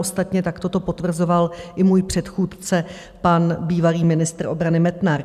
Ostatně takto to potvrzoval i můj předchůdce, pan bývalý ministr obrany Metnar.